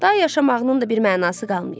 Day yaşamağının da bir mənası qalmayıb.